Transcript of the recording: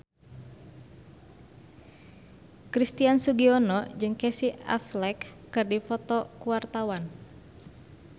Christian Sugiono jeung Casey Affleck keur dipoto ku wartawan